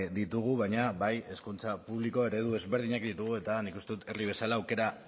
ditugu baina bai hezkuntza publiko eredu ezberdinak ditugu eta nik uste dut herri bezala aukera